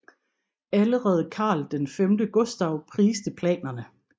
Allerede Karl X Gustav priste planerne